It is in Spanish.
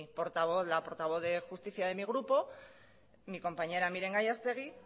portavoz la portavoz de justicia de mi grupo mi compañera miren gallastegui